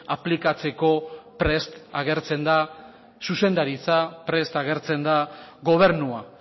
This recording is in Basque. aplikatzeko prest agertzen da zuzendaritza prest agertzen da gobernua